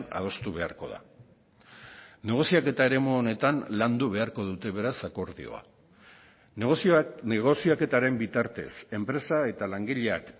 adostu beharko da negoziaketa eremu honetan landu beharko dute beraz akordioa negoziaketaren bitartez enpresa eta langileak